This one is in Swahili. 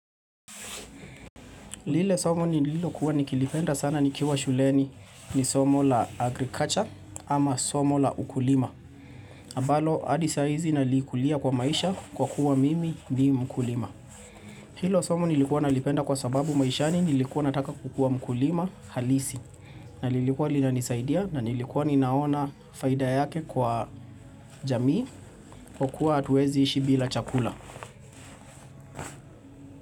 Lile somo nililokuwa nikilipenda sana nikiwa shuleni ni somo la agriculture ama somo la ukulima. Ambalo hadisaizi nalikulia kwa maisha kwa kuwa mimi ni mkulima. Hilo somo nilikuwa nalipenda kwa sababu maishani nilikuwa nataka kukua ukulima halisi. Nalilikuwa linanisaidia na nilikuwa ninaona faida yake kwa jamii kwa kuwa hatuezi ishi bila chakula.